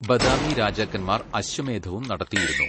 ബദാമി രാജാക്കന്മാർ അശ്വമേധവും നടത്തിയിരുന്നു.